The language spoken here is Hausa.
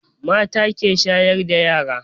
Mata ke shayar da yara